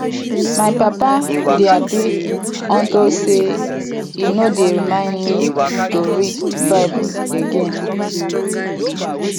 my papa dey happy unto say e no dey remind me to read bible again